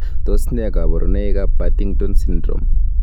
Tos nee koborunoikab Partington syndrome?